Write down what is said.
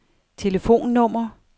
telefonnummer